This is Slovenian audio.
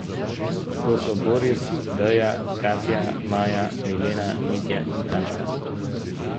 To so Boris, Deja, Katja, Maja, Milena, Mitja in Tamara.